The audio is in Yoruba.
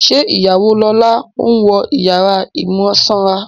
Ṣé ìyàwó lọ́la ń wọ ìyàrá ìmúsanra?